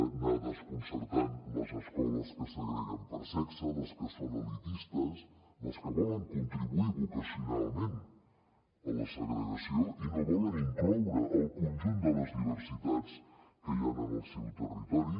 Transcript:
anar desconcertant les escoles que segreguen per sexe les que són elitistes les que volen contribuir vocacionalment a la segregació i no volen incloure el conjunt de les diversitats que hi han en el seu territori